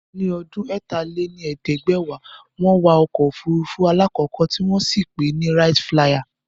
Ní ọdún ẹ̀ta lé ní ẹ̀ẹ́dẹ́gbẹ́wá, wọn wa Ọkọ̀ ofurufu alakọkọ ti wọn sì pè é ni "Wright Flyer"